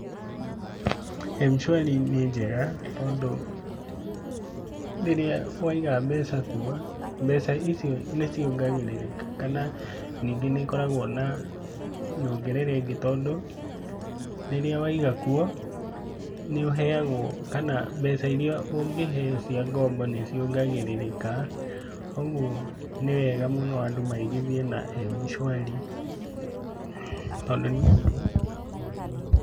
M-Shwari nĩ njega tondũ rĩrĩa waiga mbeca kuo, mbeca icio nĩ ciongagĩrĩrĩkaga, kana ningi nĩ ikoragwo na nyongerera ĩngi tondũ rĩrĩa waiga kuo, nĩ ũheagwo, kana mbeca iria ũngĩheo cia ngombo nĩ ciongagĩrĩrĩkaga, ũguo nĩ wega mũno andũ maigithie na M-Shwari tondũ ni wega.